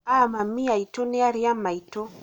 a mami aitũ nĩ arĩ a maitũ